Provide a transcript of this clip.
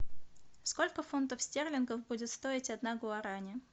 сколько фунтов стерлингов будет стоить одна гуарани